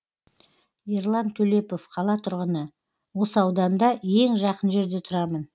ерлан төлепов қала тұрғыны осы ауданда ең жақын жерде тұрамын